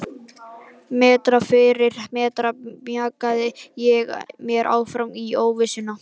Metra fyrir metra mjakaði ég mér áfram út í óvissuna.